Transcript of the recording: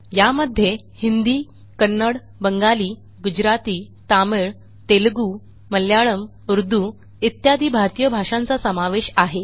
यामध्ये हिंदी कन्नड बंगाली गुजराती तामिळ तेलगू मल्याळम उर्दू इत्यादी भारतीय भाषांचा समावेश आहे